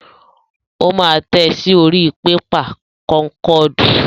Ó máa tẹ̀ ẹ́ sí orí pépà kọ́ńkọ́ọ̀dù.